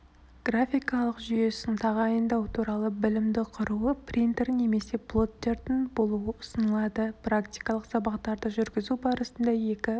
графикалық жүйесін тағайындау туралы білімді құруы принтер немесе плоттердің болуы ұсынылады практикалық сабақтарды жүргізу барысында екі